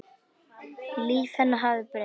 Líf hennar hafði breyst.